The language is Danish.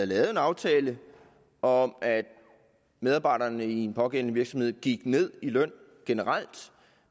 lavet en aftale om at medarbejderne i en pågældende virksomhed gik ned i løn generelt